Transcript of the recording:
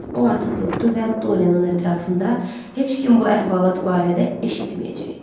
O artıq yoxdur və Doriyenin ətrafında heç kim bu əhvalat barədə eşitməyəcək.